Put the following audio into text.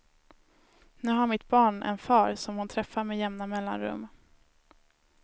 Nu har mitt barn en far som hon träffar med jämna mellanrum.